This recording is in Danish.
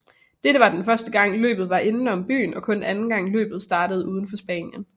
Dette var første gang løbet var indenom byen og kun anden gang løbet startede udenfor Spanien